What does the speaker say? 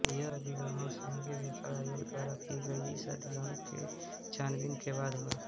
यह अधिग्रहण संघीय व्यापार आयोग द्वारा की गई इस अधिग्रहण के छानबीन के बाद हुआ